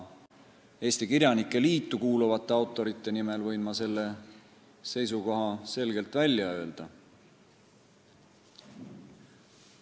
Eesti Kirjanike Liitu kuuluvate autorite nimel võin ma selle seisukoha selgelt välja öelda.